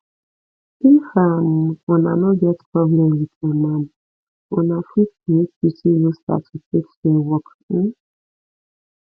if um una no get problem with um am una fit create duty roster to take share work um